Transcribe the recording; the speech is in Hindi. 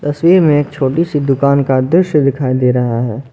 तस्वीर में एक छोटी सी दुकान का दृश्य दिखाई दे रहा है।